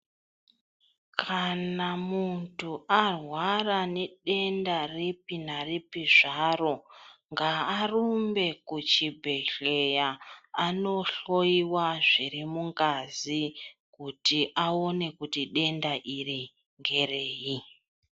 Kana muntu arwara nedenda ripi naripi zvaro, ngaarumbe kuchibhedhleya anohloyiwa zviri mungazi kuti aone kuti denda iri ngerei.